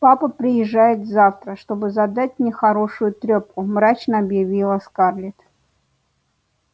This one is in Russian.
папа приезжает завтра чтобы задать мне хорошую трёпку мрачно объявила скарлетт